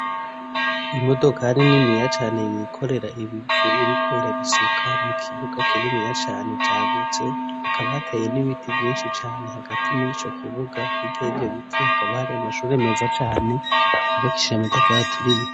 imodokari niniya cane yikorera ibivu iriko irabisuka mu kibuga kininiya cane cagutse hakaba hateye n'ibiti vyinshi cane hagati muri co kibuga hirya yivyo biti hakaba hari amashuri meza cane yubakishije amatafari aturiye